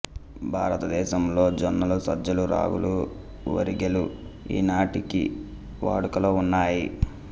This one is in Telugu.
భారతదేశములో జొన్నలు సజ్జలు రాగులు వరిగెలు ఈనాటికీ వాడుకలో ఉన్నాయి